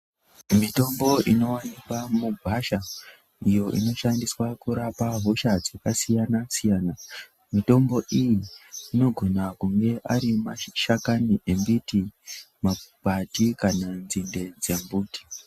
Mitombo inoonekwa mugwasha iyo inoshandiswa kurapa hosha dzakasiyana siyana. Mitombo iyi inogona kunge ari mashakani embiti, makwati kana nzinde dzembiti.